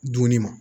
Dumuni ma